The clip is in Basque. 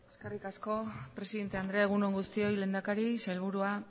eskerrik asko presidente andrea egun on guztioi lehendakari sailburua